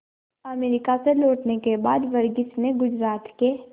America से लौटने के बाद वर्गीज ने गुजरात के